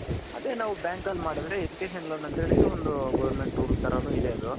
ಅದೇ ನಾವ್ bank ಅಲ್ಲಿ ಮಾಡದ್ರೆ education loan ಅಂತ ಹೇಳಿ ಒಂದು ಗೌರರ್ಮೆಂಟ್ role ತರ ಇದೆ ಅದು.